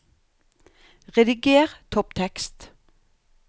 Rediger topptekst